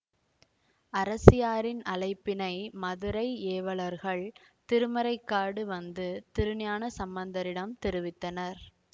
அரசியாரின் அழைப்பினை மதுரை ஏவலர்கள் திருமறைக்காடு வந்து திருஞான சம்பந்தரிடம் தெரிவித்தனர்